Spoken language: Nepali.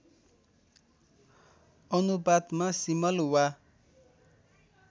अनुपातमा सिमल वा